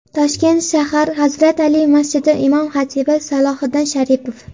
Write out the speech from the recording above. Toshkent shahar «Hazrat Ali» masjidi imom-xatibi Salohiddin Sharipov.